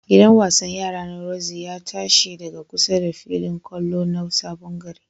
Gidan wasan yara na rorzi ya ta shi daga kusa da filin ƙwallon na Sabon gari.